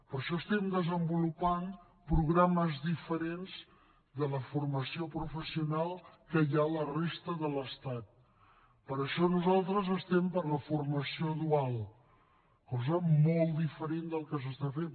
per això estem desenvolupant programes diferents de la formació professional que hi ha a la resta de l’estat per això nosaltres estem per la formació dual cosa molt diferent del que s’està fent